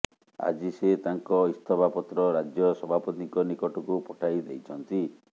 ଆଜି ସେ ତାଙ୍କ ଇସ୍ତଫାପତ୍ର ରାଜ୍ୟ ସଭାପତିଙ୍କ ନିକଟକୁ ପଠାଇ ଦେଇଛନ୍ତି